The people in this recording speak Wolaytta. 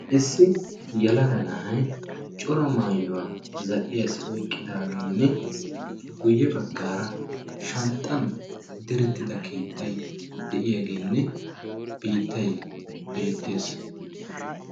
Issi yelaga na'ay coraa maayuwaa zal'iyaassi oyqqidaageenne guyye baggara shanxxan diretida keettay de'iyaageenne biittay beettees.